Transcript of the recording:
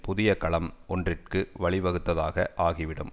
புதிய களம் ஒன்றிற்கு வழிவகுத்ததாக ஆகிவிடும்